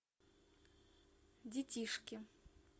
детишки